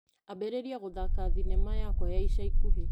Ambĩrĩria gũthaka thinema yakwa ya ica ikuhĩ .